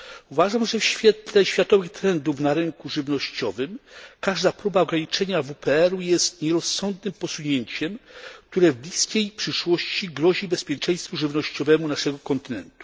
Uważam, że w świetle światowych trendów na rynku żywnościowym każda próba ograniczenia WPR jest nierozsądnym posunięciem, które w bliskiej przyszłości grozi bezpieczeństwu żywnościowemu naszego kontynentu.